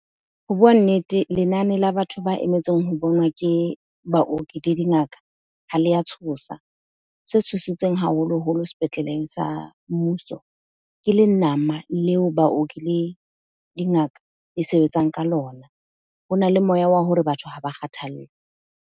Ho bua nnete, lenane la batho ba emetseng ho bonwa ke baoki le dingaka ha le a tshosa. Se tshositseng haholoholo sepetleleng sa mmuso, ke le nama leo baoki le dingaka e sebetsang ka lona. Ho na le moya wa hore batho ha ba kgathallwe.